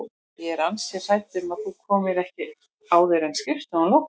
Ég er ansi hrædd um að þú komir ekki áður en skrifstofan lokar